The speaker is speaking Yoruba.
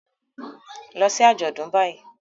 Lọ sí àjọ̀dún báyìí